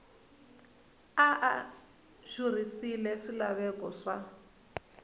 a a xurhisile swilaveko swa